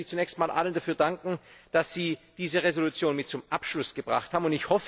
Deshalb möchte ich zunächst einmal allen dafür danken, dass sie diese Entschließung mit zum Abschluss gebracht haben.